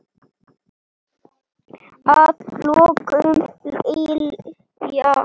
Að lokum, Lilja.